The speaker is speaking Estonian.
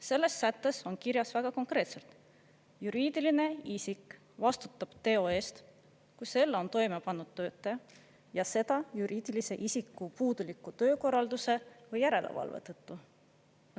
Selles sättes on kirjas väga konkreetselt: juriidiline isik vastutab teo eest, kui selle on toime pannud töötaja ja seda juriidilise isiku puuduliku töökorralduse või järelevalve tõttu.